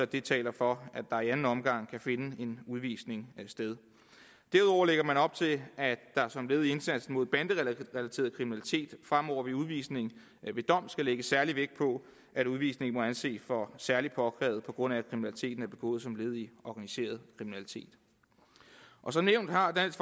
det taler for at der i anden omgang kan finde en udvisning sted derudover lægger man op til at der som led i indsatsen mod banderelateret kriminalitet fremover ved udvisning ved dom skal lægges særlig vægt på at udvisningen må anses for særlig påkrævet på grund af at kriminaliteten er begået som led i organiseret kriminalitet som nævnt har dansk